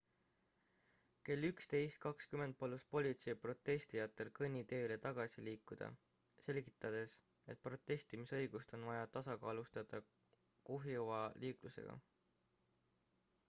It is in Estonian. kell 11.20 palus politsei protestijatel kõnniteele tagasi liikuda selgitades et protestimisõigust on vaja tasakaalustada kuhjuva liiklusega